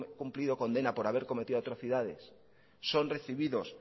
cumplido condena por haber cometido atrocidades son recibidos